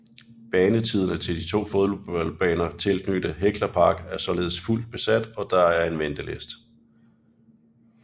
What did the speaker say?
Banetiderne til de to fodboldbaner tilknyttet Hekla Park er således fuldt besat og der er en venteliste